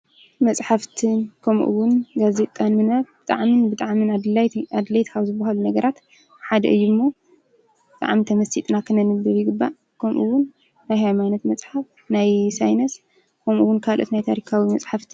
መፃሕፍትን ከምኡውን ጋዜጣን ብጣዕሚ ብጣዕሚ ኣድለይቲ ካብ ዝበሃሉ ነገራት ሓደ እዩ እሞ ብጣዕሚ ተመሲጥና ኽነንብኦም ይግባእ፡፡ ከምኡውን ናይ ሃይማኖት መፅሓፍ፣ ናይ ሳይንስ ከምኡውን ካልኦት ናይ ታሪካዊ መፃሕፍቲ፡፡